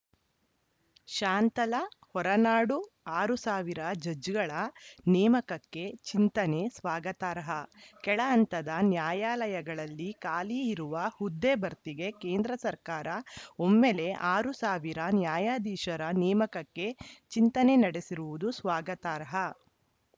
ಶಾಂತಲಾ ಹೊರನಾಡು ಆರು ಸಾವಿರ ಜಡ್ಜ್‌ಗಳ ನೇಮಕಕ್ಕೆ ಚಿಂತನೆ ಸ್ವಾಗತಾರ್ಹ ಕೆಳ ಹಂತದ ನ್ಯಾಯಾಲಯಗಳಲ್ಲಿ ಖಾಲಿ ಇರುವ ಹುದ್ದೆ ಭರ್ತಿಗೆ ಕೇಂದ್ರ ಸರ್ಕಾರ ಒಮ್ಮೆಲೆ ಆರ್ ಸಾವಿರ ನ್ಯಾಯಾಧೀಶರ ನೇಮಕಕ್ಕೆ ಚಿಂತನೆ ನಡೆಸಿರುವುದು ಸ್ವಾಗತಾರ್ಹ